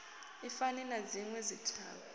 i fani na dzinwe dzithavha